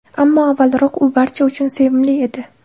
Ammo avvalroq u barcha uchun sevimli edi.